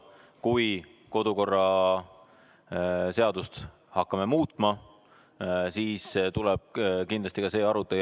Kui me hakkame kodukorra seadust muutma, siis tuleb kindlasti ka see arutelu.